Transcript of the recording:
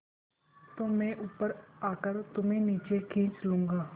तो मैं ऊपर आकर तुम्हें नीचे खींच लूँगा